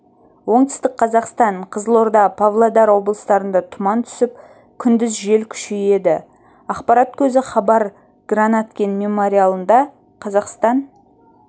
оңтүстік қазақстан қызылорда павлодар облыстарында тұман түсіп күндіз жел күшейеді ақпарат көзі хабар гранаткин мемориалында қазақстан